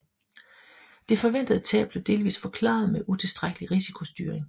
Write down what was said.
Det forventede tab blev delvist forklaret med utilstrækkelig risikostyring